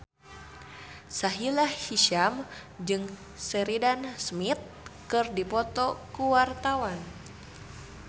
Sahila Hisyam jeung Sheridan Smith keur dipoto ku wartawan